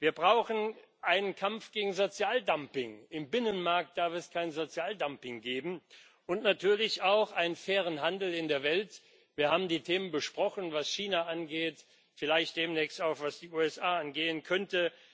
Wir brauchen einen Kampf gegen Sozialdumping im Binnenmarkt darf es kein Sozialdumping geben und natürlich auch einen fairen Handel in der Welt. Wir haben die Themen besprochen, was China angeht, vielleicht demnächst auch, was die USA angehen könnte.